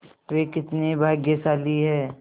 वे कितने भाग्यशाली हैं